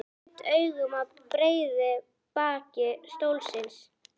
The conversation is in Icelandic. Ég gaut augum að breiðu baki stólsins.